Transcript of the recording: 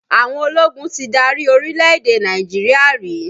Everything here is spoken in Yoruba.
Àwọn ológun ti dárí orílẹ̀-èdè Nàìjíríà rí